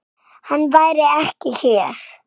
Hann væri ekki hér.